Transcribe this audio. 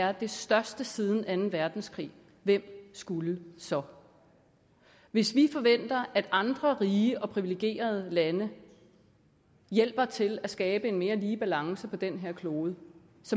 er det største siden anden verdenskrig hvem skulle så hvis vi forventer at andre rige og privilegerede lande hjælper til at skabe en mere lige balance på den her klode